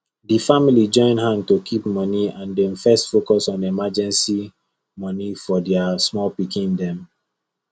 the family join hand to keep money and dem first focus on emergency money for their small pikin dem